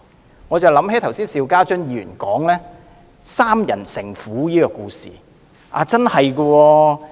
這令我想起剛才邵家臻議員提到的"三人成虎"故事。